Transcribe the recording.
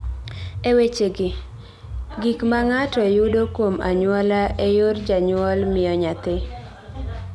E wechegi, gik ma ng�ato yudo kuom anyuola e yor janyuol miyo nyathi.